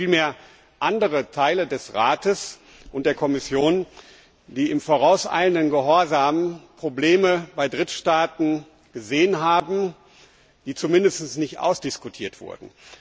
Es waren vielmehr andere Vertreter des Rates und der Kommission, die in vorauseilendem Gehorsam Probleme bei Drittstaaten gesehen haben, die zumindest nicht ausdiskutiert wurden.